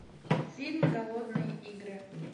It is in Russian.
фильм голодные игры